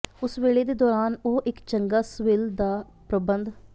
ਉਸ ਵੇਲੇ ਦੇ ਦੌਰਾਨ ਉਹ ਇੱਕ ਚੰਗਾ ਸਵਿੱਲ ਦਾ ਪਰਬੰਧ